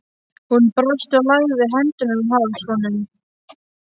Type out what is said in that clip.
Hún brosti og lagði hendurnar um háls honum.